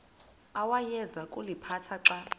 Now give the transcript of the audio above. awayeza kuliphatha xa